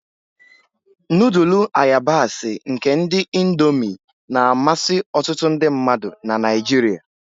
Nudulu ayabasi nke ndi Indómii na-amasị ọtụtụ ndị mmadụ na Naijiria.